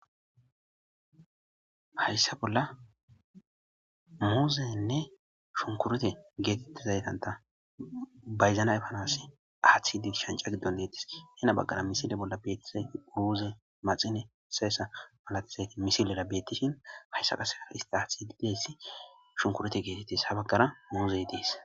Hayssa bolla muuzenne shunkurete geetette zaytanta bayzana efanasi aaththidi shanca giddon deettis hena baggara misile bolla beettise uruuze maxine sayessa malatizayti misilera bettishin hayssa qasea hista aaththididessi shunkurete geetettis habaggara muuzey dees.